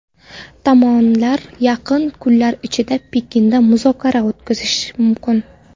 Tomonlar yaqin kunlar ichida Pekinda muzokara o‘tkazishi mumkin.